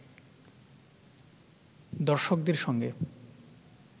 দর্শকদের সঙ্গে